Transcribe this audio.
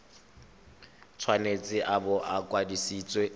tshwanetse a bo a kwadisitswe